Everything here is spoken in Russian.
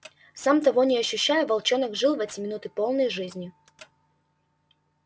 сам того не ощущая волчонок жил в эти минуты полной жизнью